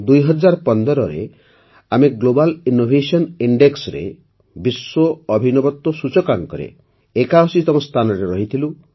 ୨୦୧୫ରେ ଆମେ global innovation ଇଣ୍ଡେକ୍ସରେ ବିଶ୍ୱ ଅଭିନବତ୍ୱ ସୂଚକାଙ୍କରେ ୮୧ତମ ସ୍ଥାନରେ ରହିଥଲୁ